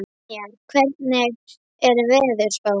Brynjar, hvernig er veðurspáin?